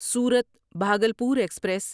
صورت بھاگلپور ایکسپریس